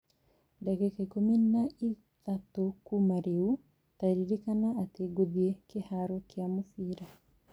ndagĩka ikũmi na ĩtatũ kuuma rĩu, ta ririkana atĩ ngũthiĩ kĩhaaro kĩa mũbira